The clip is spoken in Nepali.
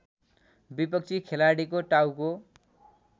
विपक्षी खेलाडीको टाउको